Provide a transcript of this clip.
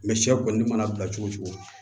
Mɛ sɛ kɔni mana bila cogo cogo